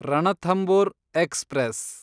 Ranthambore express